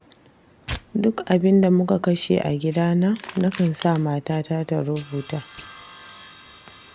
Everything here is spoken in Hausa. Duk abinda muka kashe a gidana, nakan sa matata ta rubuta.